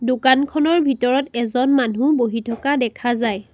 দোকানখনৰ ভিতৰত এজন মানুহ বহি থকা দেখা যায়।